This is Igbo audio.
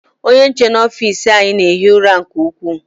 Ónyé nche nọ n'ofici anyị na-ehi ụra nke ukwuu.